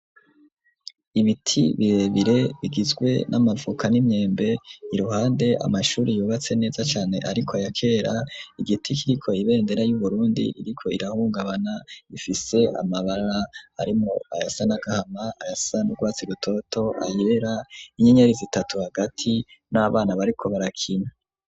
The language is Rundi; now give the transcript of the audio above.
Ibiti birebire bigizwe n'amavoka n'imyembe iruhande amashuri yubatse neza cane ariko ayakera igiti kiriko ibendera y'uburundi iriko irahungabana ifise amabara arimwo ayasa n'agahama ayasa n'urwatse rutoto ayera inyenyeri zitatu hagati n'abana bariko barakina.